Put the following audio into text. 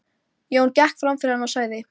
Jón gekk fram fyrir hann og sagði